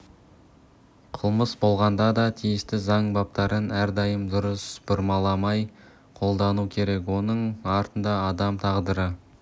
қылмыс болғанда да тиісті заң баптарын әрдайым дұрыс бұрмаламай қолдану керек оның артында адам тағдыры